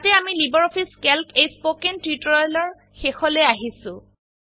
ইয়াতে আমি LibreOffice calc এই স্পোকেন টিউটোৰিয়েলৰ শেষলৈ আহিছো